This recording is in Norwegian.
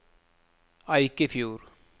Eikefjord